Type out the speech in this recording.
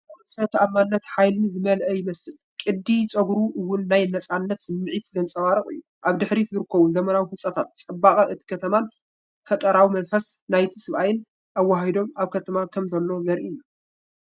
እቲ ሰብኣይ ርእሰ ተኣማንነትን ሓይልን ዝመልአ ይመስል። ቅዲ ጸጉሩ እውን ናይ ናጽነት ስምዒት ዘንጸባርቕ እዩ። ኣብ ድሕሪት ዝርከቡ ዘመናዊ ህንጻታት፡ ጽባቐ እታ ከተማን ፈጠራዊ መንፈስ ናይቲ ሰብኣይን ኣወሃሂዶም ኣብ ከተማ ከም ዘሎ ዘርኢ እዩ።